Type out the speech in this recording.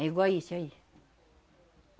É igual a isso aí.